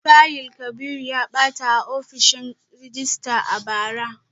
Fayil Kabiru ya bata a ofishin rejista a bara